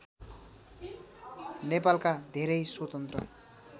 नेपालका धेरै स्वतन्त्र